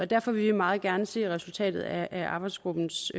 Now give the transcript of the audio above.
derfor vil vi meget gerne se resultatet af arbejdsgruppens